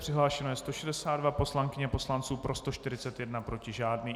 Přihlášeno je 162 poslankyň a poslanců, pro 141, proti žádný.